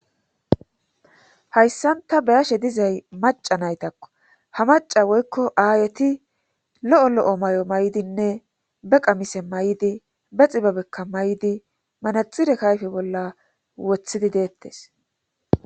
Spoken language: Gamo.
hayssan ta beyashe dizay maca naytakko ha maca woykko aayeti lo'o lo7o may7o may7dinne be qamise may7di be xibabekka may'di manaxire kayfe bolla wothidi deettes